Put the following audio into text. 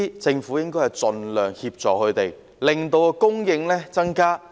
政府應該盡量提供協助，令供應增加。